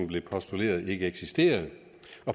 blev postuleret ikke eksisterede